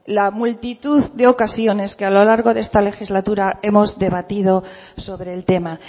la multitud de ocasiones que a lo largo de esta legislatura hemos debatido sobre el tema